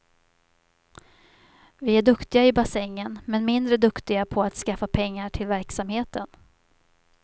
Vi är duktiga i bassängen, men mindre duktiga på att skaffa pengar till verksamheten.